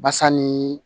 Basa ni